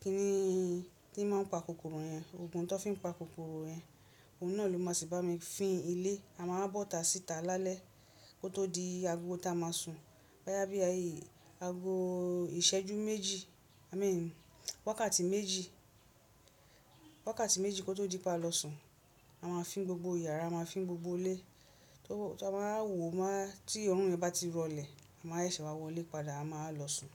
kíni un tí ó máa ń pa kòkòrò yẹn, òògùn tó fi ń pa kòkòrò yẹn. Òun náà ló máa sì bá mi fín ilé. Ama wá bọ́ ta sí tá lálẹ́, kó tó di agogo tí amáà sùn bó yá bí agogo iṣẹ́jú méjì àmì wákàtí méjì kó tó di pé ama lọ sùn. A ma fín gbogbo yàrá a ma fín gbogbo ilé to o. Tó a máa wò ma, tí òrùn rẹ bá ti rọlẹ̀, a máa ẹṣẹ̀ wá wọ ilé padà, a máa lọ sùn.